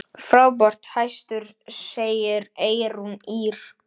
Frábær hestur, segir Eyrún Ýr.